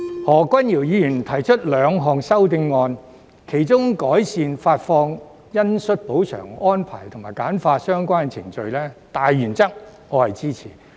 何君堯議員提出兩項修正案，其中有關改善發放恩恤補償安排及簡化相關程序的大原則，我是支持的。